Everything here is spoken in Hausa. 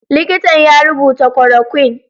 Likitan ya rubuta korokwin.